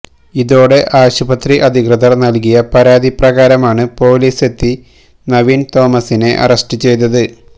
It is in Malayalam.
ഇതോടെ ആശുപത്രി അധികൃതര് നല്കിയ പരാതി പ്രകാരമാണ് പൊലിസെത്തി നവീന് തോമസിനെ അറസ്റ്റ്ചെയ്തത്